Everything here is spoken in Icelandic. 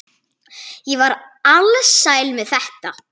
Ég var alsæl með þetta.